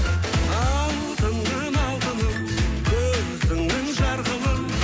алтыным алтыным көзіңнің жарқылын